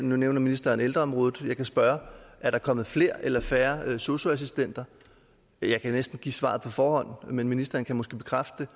nu nævner ministeren ældreområdet jeg kan spørge er der kommet flere eller færre sosu assistenter jeg kan næsten give svaret på forhånd men ministeren kan måske bekræfte